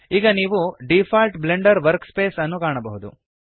ಈಗ ನೀವು default Blender workspace ಅನ್ನು ಕಾಣಬಹುದು